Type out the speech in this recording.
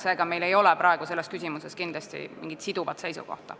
Seega meil ei ole praegu selles küsimuses mingit siduvat seisukohta.